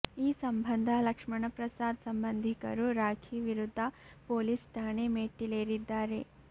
ಈ ಸಂಬಂಧ ಲಕ್ಷ್ಮಣ ಪ್ರಸಾದ್ ಸಂಬಂಧಿಕರು ರಾಖಿ ವಿರುದ್ಧ ಪೊಲೀಸ್ ಠಾಣೆ ಮೆಟ್ಟಿಲೇರಿದ್ದಾರೆ